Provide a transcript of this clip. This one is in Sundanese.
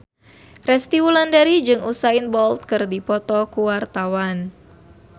Resty Wulandari jeung Usain Bolt keur dipoto ku wartawan